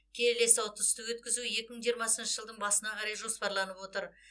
келесі ұтысты өткізу екі мың жиырмасыншы жылдың басына қарай жоспарланып отыр